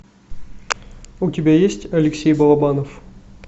у тебя есть алексей балабанов